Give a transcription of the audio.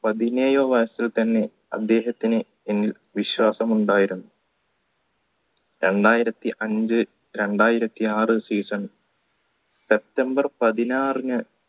പതിനേഴോ വയസ്സിൽ തന്നെ അദ്ദേഹത്തിന് എന്നിൽ വിശ്വാസം ഉണ്ടായിരുന്നു രണ്ടായിരത്തി അഞ്ചു രണ്ടായിരത്തി ആർ season september പതിനാറിന്